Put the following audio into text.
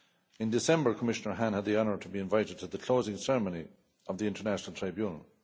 In December, Commissioner Hahn had the honour to be invited to the closing ceremony of the International Tribunal.